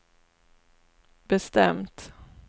bestämt